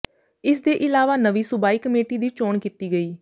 ਇਸ ਦੇ ਇਲਾਵਾ ਨਵੀਂ ਸੂਬਾਈ ਕਮੇਟੀ ਦੀ ਚੋਣ ਕੀਤੀ ਗਈ